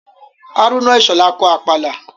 Hárúnà Ìṣhọ̀lá kọ Àpàlà